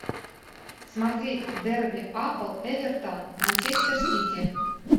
смотреть дерби апл эвертон манчестер сити